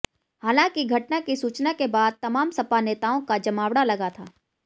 हालांकि घटना की सूचना के बाद तमाम सपा नेताओं का जमावड़ा लगा था